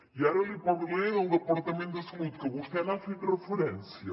i ara li parlaré del departament de salut que vostè n’ha fet referència